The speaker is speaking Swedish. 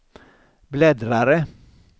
bläddrare